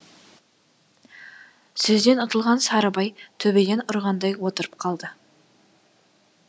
сөзден ұтылған сарыбай төбеден ұрғандай отырып қалды